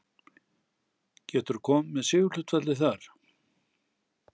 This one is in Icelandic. Getur þú komið með sigurhlutfallið þar?